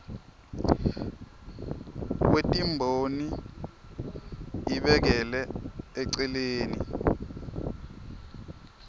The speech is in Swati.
kwetimboni ibekele eceleni